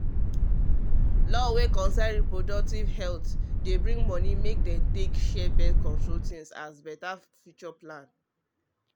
law wey concern reproductive health dey bring money make dem take share birth-control things as better future plan